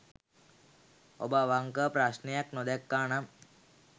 ඔබ අවංකව ප්‍රශ්නයක් නොදැක්කා නම්